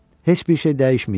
Heç bir şey dəyişməyib.